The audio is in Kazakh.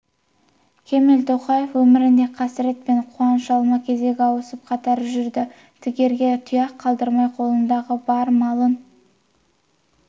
кемел тоқаев өмірінде қасірет пен қуаныш алма-кезек ауысып қатар жүрді тігерге тұяқ қалдырмай қолындағы бар малын